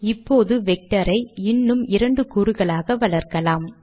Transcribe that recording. இப்போது வெக்டர் ஐ இன்னும் இரண்டு கூறுகளால் வளர்க்கலாம்